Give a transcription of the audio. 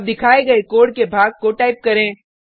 अब दिखाए गये कोड के भाग को टाइप करें